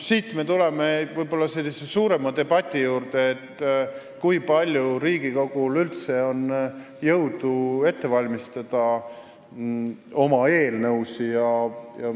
Siit me jõuame suurema debati juurde, kui palju Riigikogul üldse on jõudu valmistada ette oma eelnõusid.